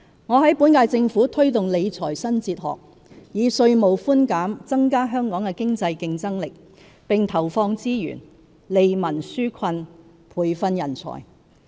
我在本屆政府推動理財新哲學，以稅務寬減增加香港的經濟競爭力，並投放資源，利民紓困，培訓人才。